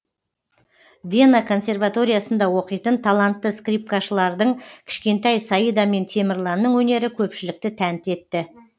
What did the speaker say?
вена консерваториясында оқитын талантты скрипкашылардың кішкентай саида мен темірланның өнері көпшілікті тәнті етті